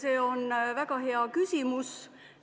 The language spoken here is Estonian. See on väga hea küsimus.